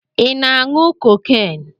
Ị na-aṅụ cocaine?